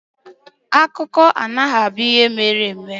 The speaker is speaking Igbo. Akụkọ anaghị abụ ihe mere eme.